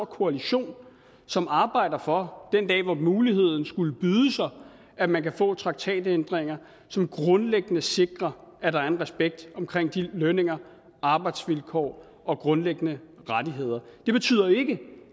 koalition som arbejder for den dag hvor den mulighed skulle byde sig at man kan få traktatændringer som grundlæggende sikrer at der er en respekt omkring lønninger arbejdsvilkår og grundlæggende rettigheder det betyder ikke